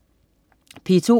P2: